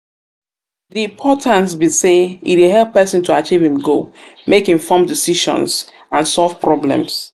di importance be say e dey help pesin to achieve im goals make informed decisions and solve problems. um